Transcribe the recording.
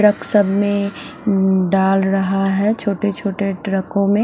truck सभ में डाल रहा है छोटे छोटे ट्रको में--